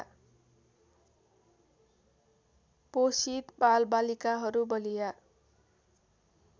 पोषित बालबालिकाहरू बलिया